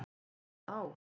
Af eða á?